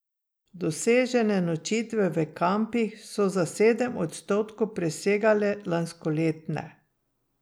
Dosežene nočitve v kampih so za sedem odstotkov presegle lanskoletne.